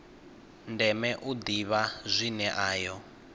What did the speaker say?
ndeme u ḓivha zwine ayo